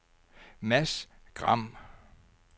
Mads Gram